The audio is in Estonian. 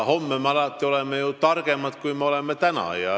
Homme me oleme alati targemad, kui me oleme täna.